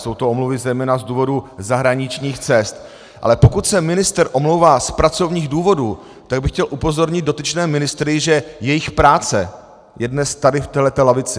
Jsou to omluvy zejména z důvodu zahraničních cest, ale pokud se ministr omlouvá z pracovních důvodů, tak bych chtěl upozornit dotyčné ministry, že jejich práce je dnes tady v této lavici.